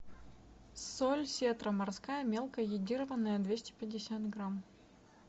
соль сетра морская мелкая йодированная двести пятьдесят грамм